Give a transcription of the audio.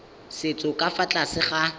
setso ka fa tlase ga